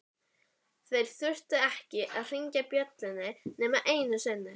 Þeir þurftu ekki að hringja bjöllunni nema einu sinni.